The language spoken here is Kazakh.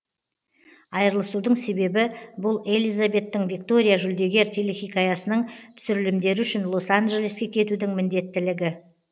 айырылысудың себебі бұл елизабеттің виктория жүлдегер телехикаясының түсірілімдері үшін лос анджелеске кетудің міндеттілігі